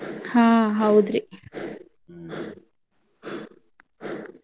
ಹಾ ಹೌದ್ರಿ.